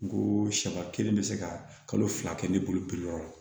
N ko siya kelen bɛ se ka kalo fila kɛ ne bolo pepe yɔrɔ la